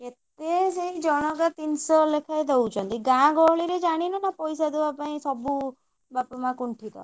କେତେ ସେଇ ଜଣଙ୍କ ତିନିଶହ ଲେଖାଏ ଦଉଛନ୍ତି ଗାଁ ଗହଳିରେ ଜାଣିନ ନା ପଇସା ଦବା ପାଇଁ ସବୁ ବାପ ମାଆ କୁଣ୍ଠିତ।